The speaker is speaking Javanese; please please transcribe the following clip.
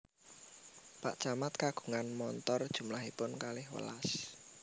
Pak camat kagungan montor jumlahipun kalih welas